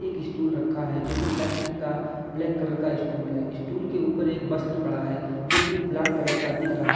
एक स्टूल रखा है जो कि प्लास्टिक का ब्लैक कलर का स्टूल है। स्टूल के ऊपर एक बस्त्र पड़ा है जो कि लाल कलर का दिख रहा --